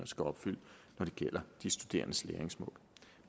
skal opfylde når det gælder de studerendes læringsmål